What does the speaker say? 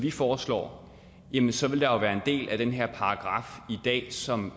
vi foreslår jamen så vil der være en del af den paragraf i dag som